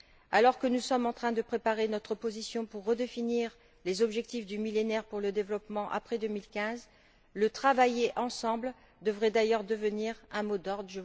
Alors que nous sommes en train de préparer notre position pour redéfinir les objectifs du Millénaire pour le développement après 2015, le travailler ensemble devrait d'ailleurs devenir un mot d'ordre!